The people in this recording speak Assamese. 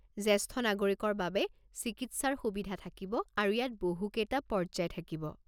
জেষ্ঠ নাগৰিকৰ বাবে চিকিৎসাৰ সুবিধা থাকিব আৰু ইয়াত বহু কেইটা পৰ্য্যায় থাকিব।